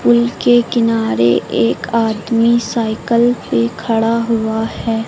Pool के किनारे एक आदमी साइकल पे खड़ा हुआ है।